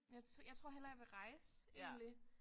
Jeg jeg tror hellere jeg vil rejse egentlig